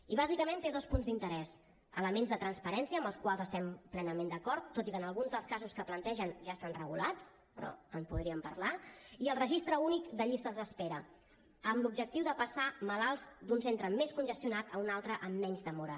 i bàsicament té dos punts d’interès elements de transparència amb els quals estem plenament d’acord tot i que en alguns dels casos que plantegen ja estan regulats però en podríem parlar i el registre únic de llistes d’espera amb l’objectiu de passar malalts d’un centre més congestionat a un altre amb menys demora